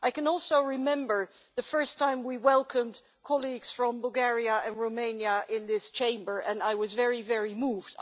I can also remember the first time that we welcomed colleagues from Bulgaria and Romania in this Chamber, and I was very, very moved.